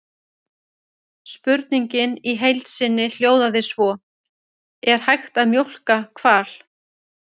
Spurningin í heild sinni hljóðaði svo: Er hægt að mjólka hval?